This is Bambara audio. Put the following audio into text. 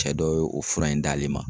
Cɛ dɔ ye o fura in d'ale ma.